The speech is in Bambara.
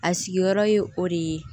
A sigiyɔrɔ ye o de ye